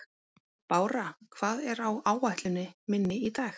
Bára, hvað er á áætluninni minni í dag?